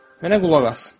Mənə qulaq as.